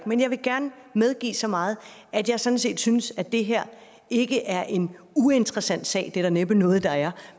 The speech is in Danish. men jeg vil gerne medgive så meget at jeg sådan set synes at det her ikke er en uinteressant sag det er der næppe noget der er